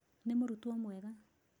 Nĩ mũrutwo mwega